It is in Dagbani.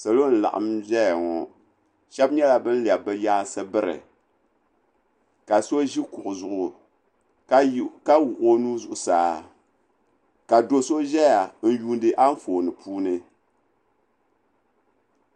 Salo n laɣim ziya ŋɔ shɛba yɛla bani lɛbi bi yɛansi biri ka so zi kuɣu zuɣu ka wuɣi o nuu zuɣusaa ka so so zɛya n yuundi anfooni puuni.